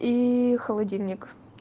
и холодильник